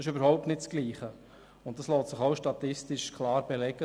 Das ist überhaupt nicht dasselbe, und das lässt sich statistisch auch klar belegen.